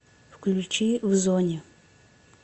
включи в зоне